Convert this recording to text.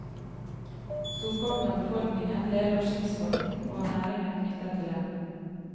Storparten av befolkningen levde av skipsfarten og av næringer knyttet til den.